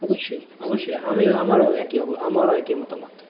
অবশ্যই অবশ্যই আমিও আমারও আমারও একই মতামত,